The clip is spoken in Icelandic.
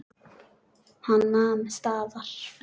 Hann nam staðar.